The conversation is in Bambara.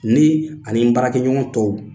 Ni ani n baarakɛɲɔgɔn tɔw